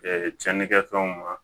cɛnikɛ fɛnw ma